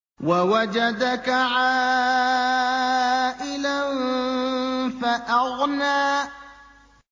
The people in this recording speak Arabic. وَوَجَدَكَ عَائِلًا فَأَغْنَىٰ